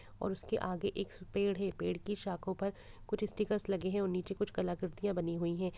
और उसके आगे एक्स पेड़ है। पेड़ की शाखों पर कुछ स्टीकर्स लगे हैं और नीचे कुछ कलाकृतियाँ बनी हुई हैं।